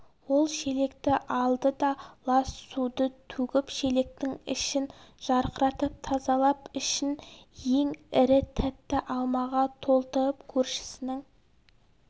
ол шелекті алды да лас суды төгіп шелектің ішін жарқыратып тазалап ішін ең ірі тәтті алмаға толтырып көршісінің